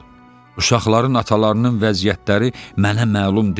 Uşaqların atalarının vəziyyətləri mənə məlum deyil.